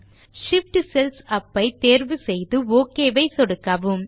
Shift cells up ஐ தேர்வு செய்து ஒக் ஐ சொடுக்கவும்